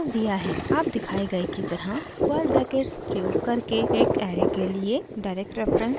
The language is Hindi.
आप दिखाए गए की तरह स्क्वायर ब्रैकेट्स प्रयोग करके एक ऐरे के लिए direct reference बना सकते हैं